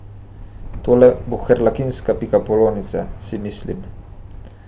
Tole bo Harlekinska pikapolonica, si mislim.